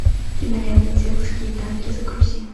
кинолента девушки и танки загрузи